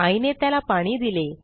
आईने त्याला पाणी दिले